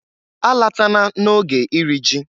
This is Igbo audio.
Alatana na oge iri ji!